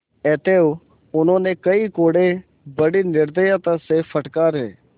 अतएव उन्होंने कई कोडे़ बड़ी निर्दयता से फटकारे